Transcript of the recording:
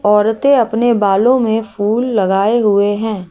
औरतें अपने बालों में फूल लगाये हुए है।